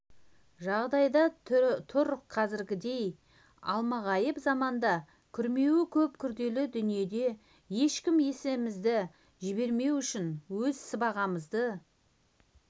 жағдайда тұр қазіргідей алмағайып заманда күрмеуі көп күрделі дүниеде ешкімге есемізді жібермеу үшін өз сыбағамыз